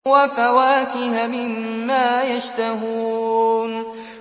وَفَوَاكِهَ مِمَّا يَشْتَهُونَ